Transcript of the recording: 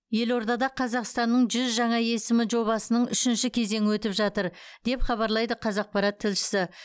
елордада қазақстанның жүз жаңа есімі жобасының үшінші кезеңі өтіп жатыр деп хабарлайды қазақпарат тілшісі